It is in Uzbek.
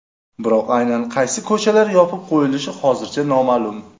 Biroq aynan qaysi ko‘chalar yopib qo‘yilishi hozircha noma’lum.